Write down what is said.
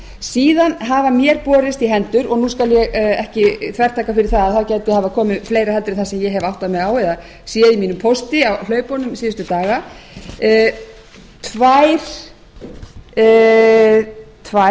síðan hafa mér borist í hendur og nú skal ég ekki þvertaka fyrir að það gæti hafa komið fleiri heldur en það sem ég hef áttað mig á eða sé í mínum pósti á hlaupunum síðustu daga tvær